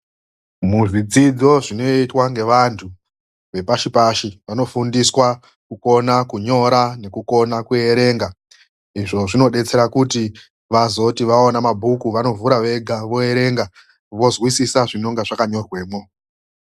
MUZVIDZIDZO ZVINOITWA NEANTU APASHI PASHI VANOFUNDISWA KUKONA KUNYORA NEKUKONA KUERENGA IZVO ZVINODETSERA KUTI VAZOTI VAONA MABHUKU VANOERENGA VOZWISISA ZVINONGA ZVAKANYORWEPO